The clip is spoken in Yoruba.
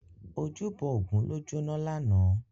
Ójúbò ógùn ló jóná làná